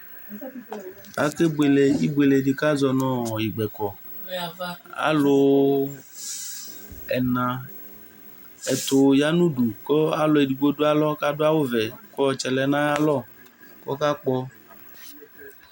Ake buele ibueledi di kʋ azɔnʋ gbɛkɔ alʋ ɛtʋ yanʋ udu kʋ alʋ edigbo dʋ alɔ kʋ adʋ awʋvɛ kʋ ɔtsɛ lɛnʋ ayʋ alɔ kʋ ɔkakpɔ